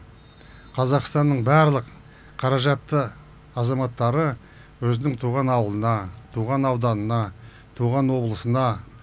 қазақстанның барлық қаражатты азаматтары өзінің туған аулына туған ауданына туған облысына